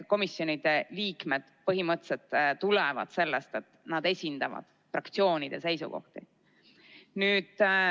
Komisjonide liikmed põhimõtteliselt tulevad sellest, et nad esindavad fraktsioonide seisukohti.